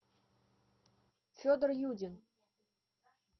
федор юдин